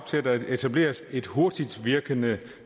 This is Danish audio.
til at der etableres et hurtigt virkende